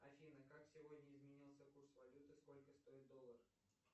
афина как сегодня изменился курс валют и сколько стоит доллар